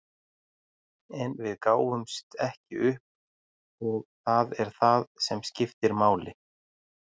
En við gáfumst ekki upp og það er það sem skiptir máli.